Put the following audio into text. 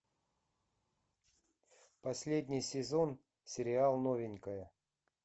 последний сезон сериал новенькая